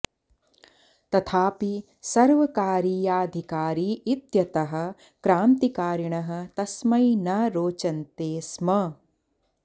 तथापि सर्वकारीयाधिकारी इत्यतः क्रान्तिकारिणः तस्मै न रोचन्ते स्म